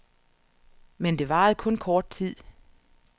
Men det varede kun kort tid.